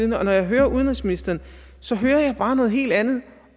når jeg hører udenrigsministeren så hører jeg bare noget helt andet